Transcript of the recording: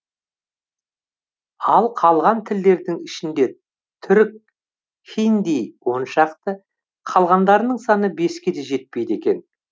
ал қалған тілдердің ішінде түрік хинди он шақты қалғандарының саны беске де жетпейді екен